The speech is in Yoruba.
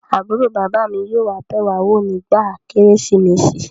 Àbúrò bàbá mi yóò wá bẹ̀ wá wò nígbà kérésìmesì